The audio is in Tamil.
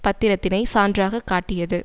பத்திரத்தினை சான்றாக காட்டியது